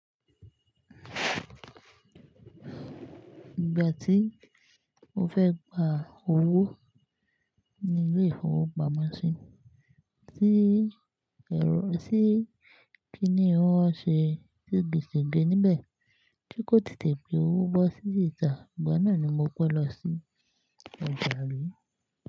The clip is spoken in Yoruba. Ìgbà tí mo fẹ́ gba owó ní ilé ìfowópamọ́sí, tí ẹ́ rò, tí kíni wón ṣe segege níbẹ̀ tí kò tètè gbé owó bọ́ sí ìta, ìgbà náà ni mo pé lọ sí ọjà ri.